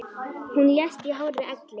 Hún lést í hárri elli.